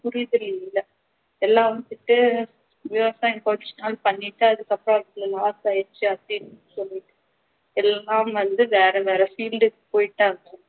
புரிதல் இல்ல எல்லாரும் விவசாயம் பண்ணிட்டு அதுக்கு அப்புறம் அந்த நிலத்தை அழிச்சு அதை சொல்லிட்டு எல்லாம் வந்து வேற வேற field க்கு போயிட்டாங்க